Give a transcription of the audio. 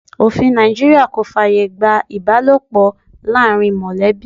Òfin Nàìjíríà kò fàyè gba ibalopo láàárín molebi.